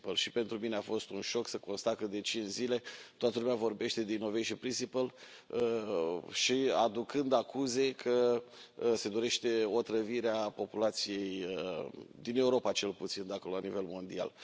Și pentru mine a fost un șoc să constat că, de cinci zile, toată lumea vorbește de principiul inovării, aducând acuze că se dorește otrăvirea populației din Europa, cel puțin, dacă nu la nivel mondial.